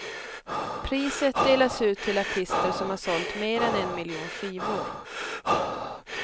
Priset delas ut till artister som har sålt mer än en miljon skivor.